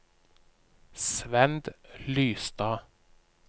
Svend Lystad